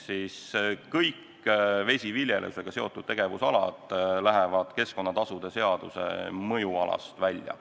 Kõik vesiviljelusega seotud tegevusalad lähevad keskkonnatasude seaduse mõjualast välja.